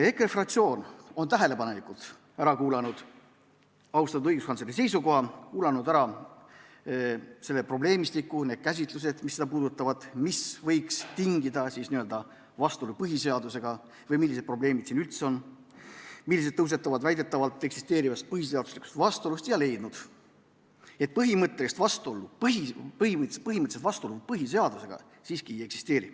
EKRE fraktsioon on tähelepanelikult ära kuulanud austatud õiguskantsleri seisukoha, kuulanud ära selle probleemistiku, need käsitlused, mis seda puudutavad, mis võiks tingida vastuolu põhiseadusega, või selle, millised probleemid siin üldse on, mis tekivad väidetavalt eksisteerivast vastuolust põhiseadusega, ja on leidnud, et põhimõttelist vastuolu põhiseadusega siiski ei eksisteeri.